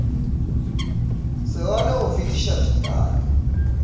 se rwale go fetiša tekanyo